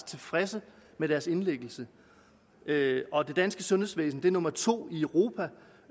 tilfredse med deres indlæggelse det danske sundhedsvæsen er nummer to i europa